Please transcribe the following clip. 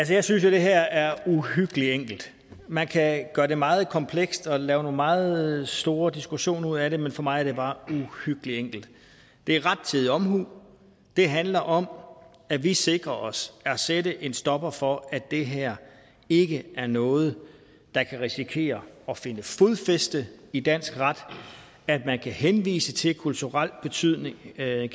jeg synes jo det her er uhyggelig enkelt man kan gøre det meget komplekst og lave nogle meget store diskussioner ud af det men for mig er det bare uhyggelig enkelt det er rettidig omhu det handler om at vi sikrer os at der sættes en stopper for at det her ikke er noget der kan risikere at finde fodfæste i dansk ret at man kan henvise til kulturel betydning at